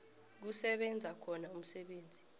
kusebenza khona umsebenzi